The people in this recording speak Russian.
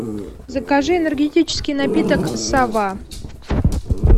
закажи энергетический напиток сова